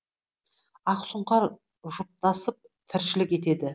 ақ сұңқар жұптасып тіршілік етеді